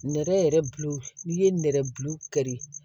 Nɛrɛ yɛrɛ bulu n'i ye nɛrɛ bulu kari